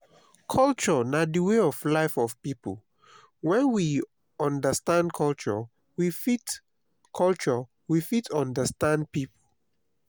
culture na di way of life of pipo when we understand culture we fit culture we fit understand pipo